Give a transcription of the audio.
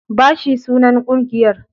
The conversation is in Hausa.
Bashi sunan ƙungiyar.